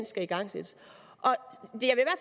skal igangsættes